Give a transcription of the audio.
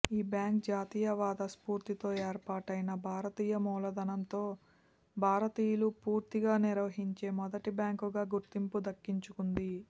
ఈ బ్యాంక్ జాతీయవాద స్ఫూర్తితో ఏర్పాటైన భారతీయ మూలధనంతో భారతీయులు పూర్తిగా నిర్వహించే మొదటి బ్యాంకుగా గుర్తింపు దక్కించుకుంది